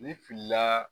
Ni filila